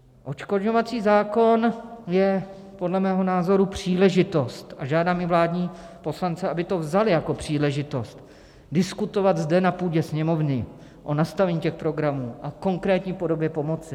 Odškodňovací zákon je podle mého názoru příležitost a žádám i vládní poslance, aby to vzali jako příležitost, diskutovat zde na půdě Sněmovny o nastavení těch programů a konkrétní podobě pomoci.